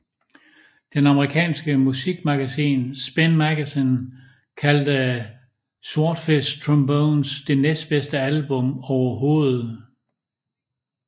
Det amerikanske musikmagasin Spin Magazine kaldte Swordfishtrombones det næstbedste album overhovedet